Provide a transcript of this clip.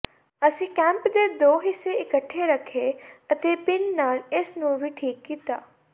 ਅਸੀਂ ਕੈਪ ਦੇ ਦੋ ਹਿੱਸੇ ਇਕੱਠੇ ਰੱਖੇ ਅਤੇ ਪੀਨ ਨਾਲ ਇਸ ਨੂੰ ਵੀ ਠੀਕ ਕੀਤਾ